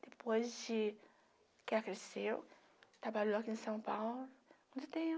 Depois de que ela cresceu, trabalhou aqui em São Paulo há muito tempo.